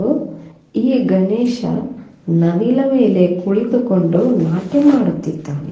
ಈ ಗಣೇಶ್ ನವಿಲ ಮೇಲೆ ಕುಳಿತುಕೊಂಡು ನಾಟ್ಯ ಮಾಡುತ್ತಿದ್ದಾನೆ.